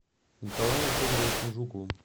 николаем федоровичем жуковым